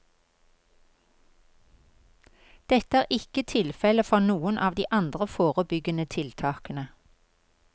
Dette er ikke tilfelle for noen av de andre forebyggende tiltakene.